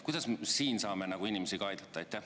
Kuidas me siin saame inimesi aidata?